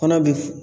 Kɔnɔ bi